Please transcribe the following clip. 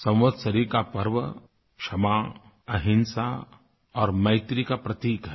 संवत्सरी का पर्व क्षमा अहिंसा और मैत्री का प्रतीक है